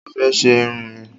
Mo fẹ́ ṣe irun mi